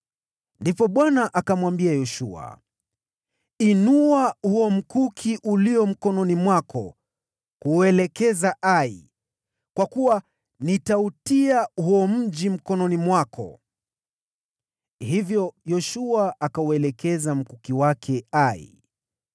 Ndipo Bwana akamwambia Yoshua, “Inua huo mkuki ulio mkononi mwako kuuelekeza Ai, kwa kuwa nitautia huo mji mkononi mwako.” Hivyo Yoshua akauelekeza mkuki wake Ai.